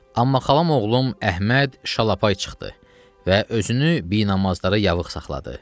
Amma xalam oğlum Əhməd şalapay çıxdı və özünü binamazlara yavıq saxladı.